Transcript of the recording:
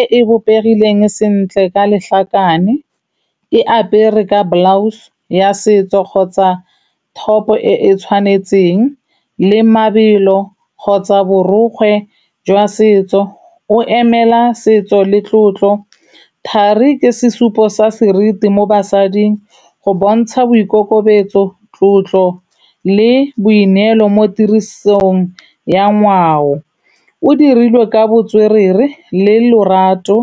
e e bopegileng sentle ka lehlakane, e apere ka blouse ya setso kgotsa top-o e e tshwanetseng le mabelo kgotsa borokgwe jwa setso, o emela setso le tlotlo. Thari ke sesupo sa seriti mo basading go bontsha boikokobetso, tlotlo le boineelo mo tirisong ya ngwao. O dirilwe ka botswerere le lorato,